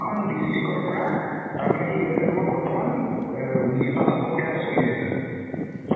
খন district ৰ পৰা তাৰ মানে কি হৈছে তোমাৰ বৰ্তমান আহ নিৰ্বাচন প্ৰক্ৰিয়া টো চলি আছে so